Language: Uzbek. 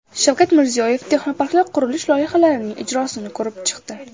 Shavkat Mirziyoyev texnoparklar qurish loyihalarining ijrosini ko‘rib chiqdi.